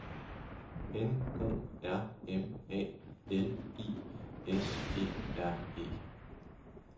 N O R M A L I S E R E